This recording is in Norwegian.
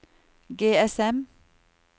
GSM